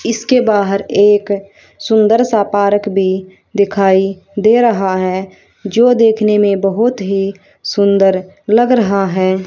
इसके बाहर एक सुंदर सा पार्क भी दिखाई दे रहा है जो देखने में बहुत ही सुंदर लग रहा है।